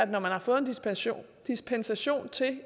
man har fået dispensation dispensation til